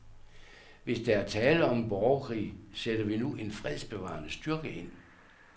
Hvis der er tale om en borgerkrig, sætter vi nu en fredsbevarende styrke ind.